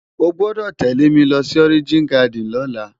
Ó gbòdò télé mi lòsi Òrijin Gàdín lòlá